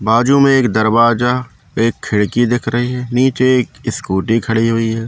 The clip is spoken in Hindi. बाजू में एक दरवाजा एक खिड़की दिख रही है नीचे एक स्कूटी खड़ी हुई है।